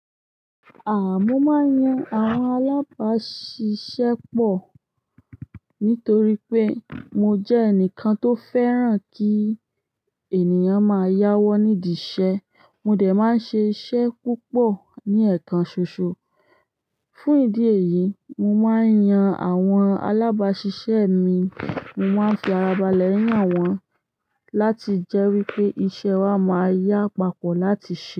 Mo máa ń yan àwọn alábàáṣiṣẹ́ pọ̀ nítorí pé mo jẹ́ ẹnìkan tó fẹ́ràn kí ènìyàn máa yáwọ́ nídìṣẹ́. Mo dẹ̀ máa ń ṣe iṣẹ́ púpọ̀ ní ẹ̀ekàn ṣòṣo. Fún ìdí èyí, mo máa ń yan àwọn alábàáṣiṣẹ́ mi, mo máa ń fi ara balẹ̀ yàn wọ́n láti jẹ́ wí pé iṣẹ́ wa máa yá pápọ̀ láti ṣe.